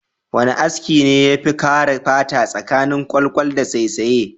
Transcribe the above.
Wana aski ne yafi kare fata tsakanin kwalkwal da saisaye?